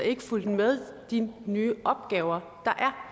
ikke fulgt med de nye opgaver